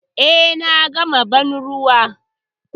Eh, na gama banruwa.